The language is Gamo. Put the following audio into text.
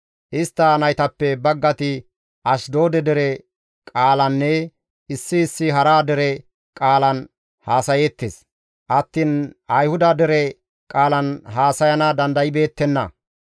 Istta naytappe baggati Ashdoode dere qaalanne issi issi hara dere qaalan haasayeettes attiin Ayhuda dere qaalan haasayana dandaybeettenna.